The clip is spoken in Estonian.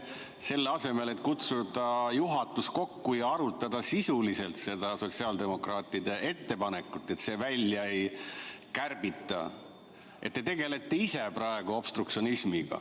Selle asemel et kutsuda juhatus kokku ja arutada sisuliselt seda sotsiaaldemokraatide ettepanekut, et seda välja ei kärbita, te tegelete ise praegu obstruktsionismiga.